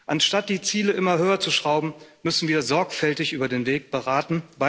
Anstatt die Ziele immer höher zu schrauben, müssen wir sorgfältig über den Weg beraten.